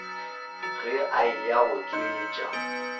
ge a eya go tšwetša